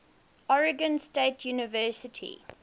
oregon state university